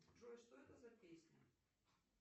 джой что это за песня